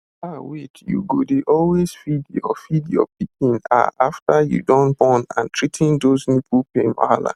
ah wait you go dey always feed your feed your pikin ah after you don born and treating those ah nipple pain wahala